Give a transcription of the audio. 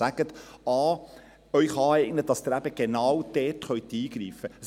Eignen Sie sich dies auch an, damit Sie genau dort eingreifen können.